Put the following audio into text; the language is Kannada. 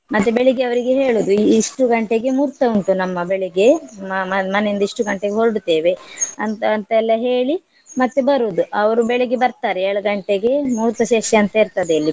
ಮತ್ತೆ ಬೆಳಿಗ್ಗೆ ಅವ್ರಿಗೆ ಹೇಳುದು ಇ~ ಇಷ್ಟು ಗಂಟೆಗೆ ಮೂರ್ತ ಉಂಟು ನಮ್ಮ ಬೆಳಿಗ್ಗೆ ಮ~ ಮ~ ಮನೆಯಿಂದ ಇಷ್ಟು ಗಂಟೆಗೆ ಹೊರಡುತ್ತೇವೆ ಅಂತ ಅಂತ ಎಲ್ಲ ಹೇಳಿ ಮತ್ತೆ ಬರುದು ಅವ್ರು ಬೆಳಿಗ್ಗೆ ಬರ್ತಾರೆ ಏಳು ಗಂಟೆಗೆ ಮೂರ್ತ ಶೇಷ ಅಂತ ಇರ್ತದೆ ಇಲ್ಲಿ.